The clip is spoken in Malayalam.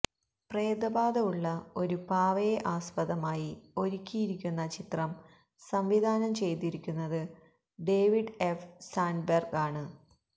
പ്രേതബാധ ഉള്ള ഒരു പാവയെ ആസ്പദമായി ഒരുക്കിയിരിക്കുന്ന ചിത്രം സംവിധാനം ചെയ്തിരിക്കുന്നത് ഡേവിഡ് എഫ് സാൻഡ്ബെർഗ് ആണ്